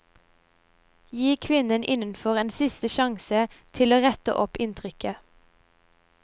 Gi kvinnen innenfor en siste sjanse til å rette opp inntrykket.